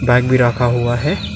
Bike भी रखा हुआ है।